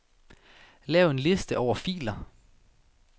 Lav en liste over filer.